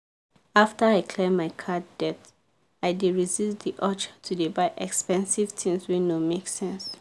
after i clear my card debt i dey resist the urge to dey buy expensive tins wey no make sense.